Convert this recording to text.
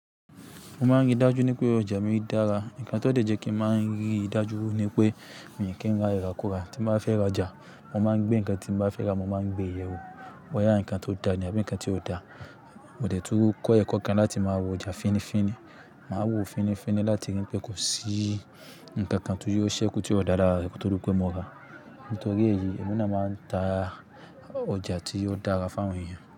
Mo máa ń rí dájú pé ọjà mi dára. Nǹkan tó jẹ́ kí ń máa ń rí dájú ni pé mi kí ń rà ìràkura. Tí mo bá fẹ́ ra ọjà, mo máa ń gbé nǹkan tí n bá fẹ́ rà, mo máa ń gbé ìyẹ̀wù bóyá nǹkan tó dáa àbí nǹkan tí ò dáa. Mo dẹ̀ tún kọ ẹkọ kan láti máa wo ọjà fínnífínní. Màá wo fínnífínní láti rí pé kò sí nǹkan kan tó yóò ṣẹ́kù tí ó dára rárá kí ó di pe mọ́ra. Nítorí èyí, èmi náà máa ń ta ọjà tí ó dára fún awon èèyàn.